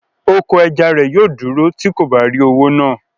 Oko ẹja rẹ̀ yóò dúró tí kò bá rí owó náà